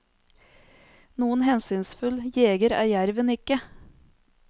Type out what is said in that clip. Noen hensynsfull jeger er jerven ikke.